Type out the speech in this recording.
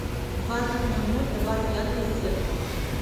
в двадцать ноль ноль добавь яркость зеркала